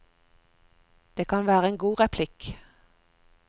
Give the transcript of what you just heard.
Det kan være en god replikk.